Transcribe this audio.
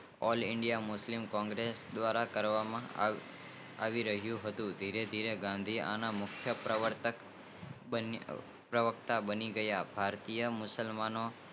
All india Muslim congress દ્રારા કરવા માં આવી રહીયુ હતું ગાંધીજી ના મુખ્ય પ્રવેશ બનિયા ભારતીય મુશલમાનો